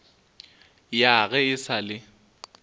ya ge e sa le